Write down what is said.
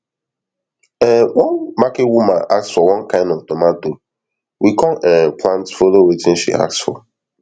um one market woman ask for one kain of tomato we come um plant follow watin she ask for